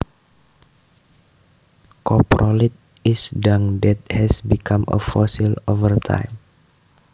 Coprolite is dung that has become a fossil over time